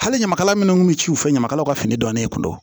Hali ɲamakala minnu kun bɛ ci u fɛ ɲamakalaw ka fini don ne kun